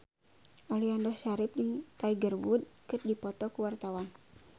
Aliando Syarif jeung Tiger Wood keur dipoto ku wartawan